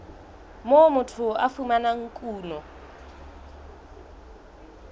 moo motho a fumanang kuno